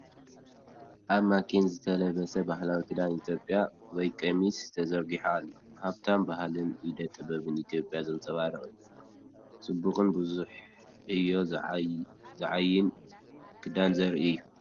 ኣብ ማኔኪን ዝተለበሰ ባህላዊ ክዳን ኢትዮጵያ (ቐሚስ) ተዘርጊሑ ኣሎ። ሃብታም ባህልን ኢደ ጥበብን ኢትዮጵያ ዘንጸባርቕ ኮይኑ፡ ጽቡቕን ብዙሕ ዕዮ ዝዓዪን ክዳን ዘርኢ እዩ!